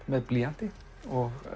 með blýanti og